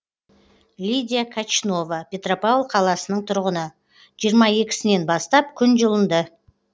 лидия качнова петропавл қаласының тұрғыны жиырма екісінен сінен бастап күн жылынды